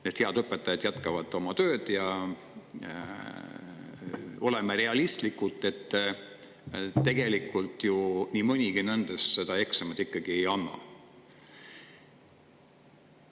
Need head õpetajad jätkavad oma tööd, aga oleme realistlikud, tegelikult ju nii mõnigi nendest seda eksamit ikkagi.